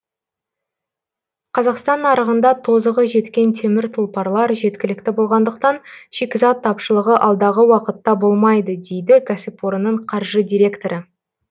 қазақстан нарығында тозығы жеткен темір тұлпарлар жеткілікті болғандықтан шикізат тапшылығы алдағы уақытта болмайды дейді кәсіпорынның қаржы директоры